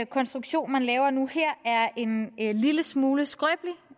konstruktion man laver nu her er en lille smule skrøbelig